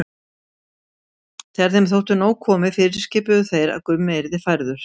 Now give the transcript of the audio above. Þegar þeim þótti nóg komið fyrirskipuðu þeir að Gummi yrði færður.